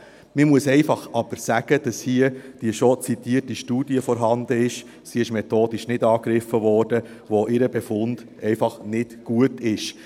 Man muss aber einfach sagen, dass hier die schon zitierte Studie vorhanden ist – sie wurde methodisch nicht angegriffen –, deren Befund einfach nicht gut ist.